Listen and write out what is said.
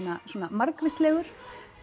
svona margvíslegur